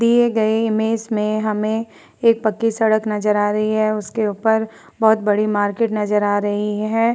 दिए गये इमेज में हमें एक पक्की सड़क नजर आ रही हैं उसके ऊपर बोहोत बड़ी मार्केट नजर आ रही है।